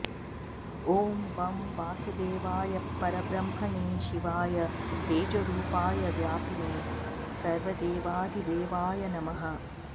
ॐ वं वासुदेवाय परब्रह्मणे शिवाय तेजोरूपाय व्यापिने सर्वदेवाधिदेवाय नमः